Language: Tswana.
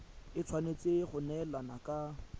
e tshwanetse go neelana ka